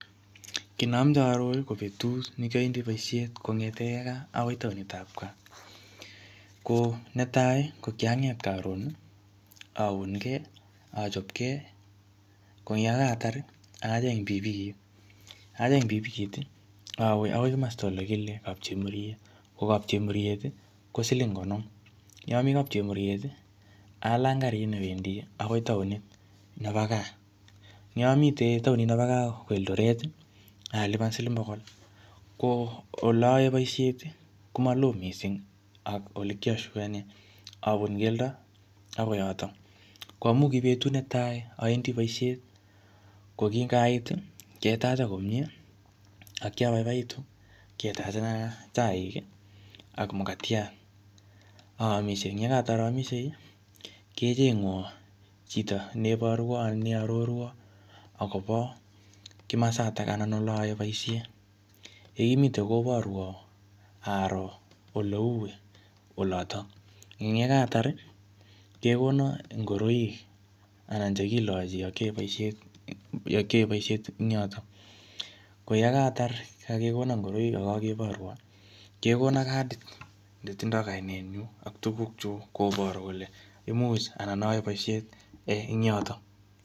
Kiy ne ameche aaror ko petut ni kiawendi poishet kongete kaa akoi taonitab kaa. Ko netai ko kianget karon aungee, achopgee koyekatar acheng' pikipikit. Acheng' pikipikit aweakoi masta ole kile kapchemuriet. Ko kapchemuriet ko siling konom. Ye ami kapchemuriet alany karit newendi akoi taonit nebo kaa. Ye amite taonit nebo kaa ko Eldoret alipan siling pokol. Ko ole aaei poishet ko maloo mising ak ole kiashukanee. Apun keldo akoi yotok. Ko amuu ki betut netai awendi poishet ko kingaiit ketacha komie ako kiapaipaitu. Ketachena chaik ak makatiat. Aamishe, ye kaatar aamishei kechengwa chito neiparwa ana neiarorwa akopa kimasatak anan olotok aaee poishet. Ye kimite koporwa aroo oleu olotok. Ang' ye kaatar kekona ngoroik anan che kilochi ya kiaei poishet eng yotok. Ko yekaatar kakekona ngoroik ako kakiporwa kekona kadit netindoi kainennyu ak tukukuchuk koparu kole imuch anan aaei poishet eng yotok.